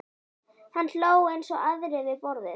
Hann hló eins og aðrir við borðið.